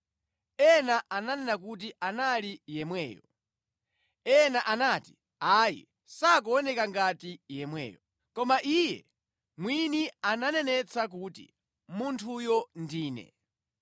Ena ananena kuti anali yemweyo. Ena anati, “Ayi, sakuoneka ngati yemweyo.” Koma iye mwini ananenetsa kuti, “Munthuyo ndine.”